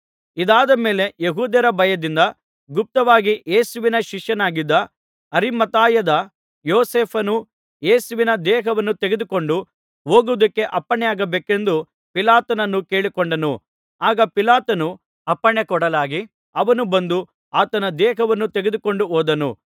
ಇದಾದ ಮೇಲೆ ಯೆಹೂದ್ಯರ ಭಯದಿಂದ ಗುಪ್ತವಾಗಿ ಯೇಸುವಿನ ಶಿಷ್ಯನಾಗಿದ್ದ ಅರಿಮಥಾಯದ ಯೋಸೇಫನು ಯೇಸುವಿನ ದೇಹವನ್ನು ತೆಗೆದುಕೊಂಡು ಹೋಗುವುದಕ್ಕೆ ಅಪ್ಪಣೆಯಾಗಬೇಕೆಂದು ಪಿಲಾತನನ್ನು ಕೇಳಿಕೊಂಡನು ಆಗ ಪಿಲಾತನು ಅಪ್ಪಣೆ ಕೊಡಲಾಗಿ ಅವನು ಬಂದು ಆತನ ದೇಹವನ್ನು ತೆಗೆದುಕೊಂಡು ಹೋದನು